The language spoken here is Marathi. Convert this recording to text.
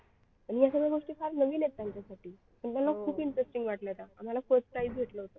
ह्या सगळ्या गोष्टी फार नवीन आहेत त्यांच्यासाठी पण त्यांना खूप interesting वाटलं त्या आम्हाला first prize भेटलं होतं